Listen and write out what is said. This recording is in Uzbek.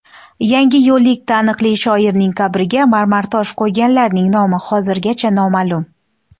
Yangiyo‘llik taniqli shoirning qabrga marmartosh qo‘yganlarning nomi hozirgacha noma’lum.